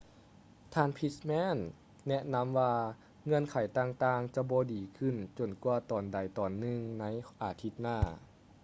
ທ່ານ pittman ແນະນຳວ່າເງື່ອນໄຂຕ່າງໆຈະບໍ່ດີຂຶ້ນຈົນກວ່າຕອນໃດຕອນໜຶ່ງໃນອາທິດໜ້າ